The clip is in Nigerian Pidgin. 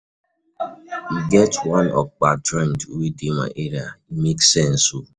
E get one okpa joint wey dey my area, e make sense o.